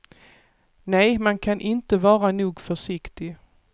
Nej, man kan inte vara nog försiktig.